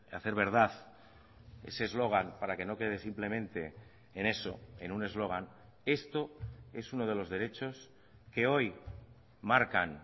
hacer verdad ese eslogan para que no quede simplemente en eso en un eslogan esto es uno de los derechos que hoy marcan